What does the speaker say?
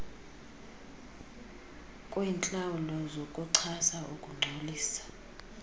kwentlawulo zokuchasa ukungcolisa